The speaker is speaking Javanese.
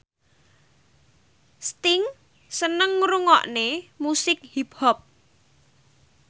Sting seneng ngrungokne musik hip hop